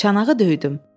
Çanağı döydüm.